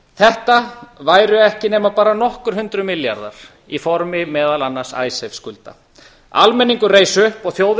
þetta væru ekki nema aðra nokkur hundruð milljarðar í formi meðal annars icesave skulda almenningur reis upp og þjóðin